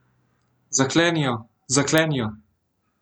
Zakleni jo, zakleni jo!